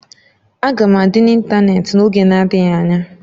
Aga m adị n'ịntanetị n'oge adịghị anya